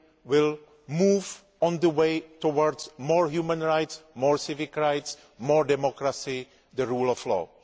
will move on the way towards more human rights, more civic rights, more democracy and the rule of law.